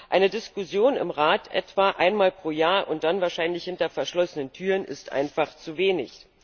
Eine Diskussion im Rat etwa einmal pro Jahr, und dann wahrscheinlich hinter verschlossenen Türen ist einfach zu wenig.